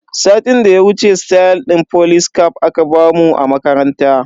Satin da ya wuce stayal din folis caf aka bamu a makaranta.